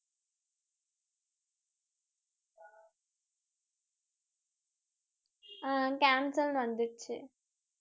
ஆஹ் cancel ன்னு வந்துருச்சு